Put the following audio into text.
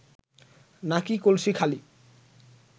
নাকি কলসি খালি